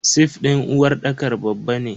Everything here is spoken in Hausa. Sif din uwarɗakar babba ne.